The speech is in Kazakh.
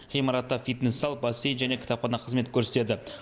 ғимаратта фитнес зал бассейн және кітапхана қызмет көрсетеді